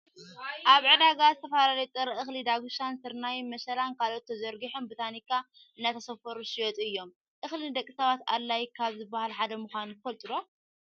ኣብ ዕዳጋ ዝተፈላለዩ ጥረ እክሊ ዳጉሻን ስርናይ፣ መሸላን ካልኦትን ተዘርጊሖም ብታኒካ እንዳተሰፈሩ ዝሽየጡ እዮም። እክሊ ንደቂ ሰባት ኣድላይ ካብ ዝባሃሉ ሓደ ምኳኑ ትፈልጡ ዶ?